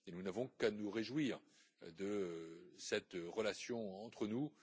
Nous n'avons qu'à nous réjouir de cette relation entre nous.